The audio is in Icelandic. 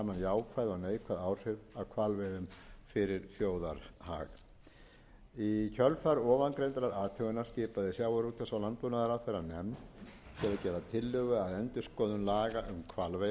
kostnaðar og nytjagreiningu til að vega saman jákvæð og neikvæð áhrif af hvalveiðum fyrir þjóðarhag í kjölfar ofangreindrar athugunar skipaði sjávarútvegs og landbúnaðarráðherra nefnd til að gera tillögu að endurskoðun laga um hvalveiðar